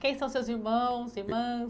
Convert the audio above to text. Quem são seus irmãos, irmãs?